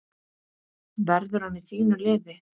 Verður hann í þínu liði?